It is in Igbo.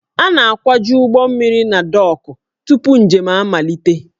A na-akwaju ụgbọ mmiri na dọọkụ tupu njem amalite